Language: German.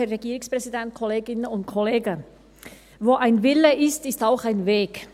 Wo ein Wille ist, ist auch ein Weg.